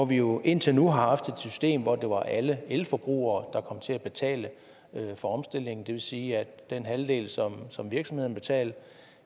vi jo indtil nu har haft et system hvor det var alle elforbrugere der til at betale for omstillingen det vil sige at den halvdel som som virksomhederne betalte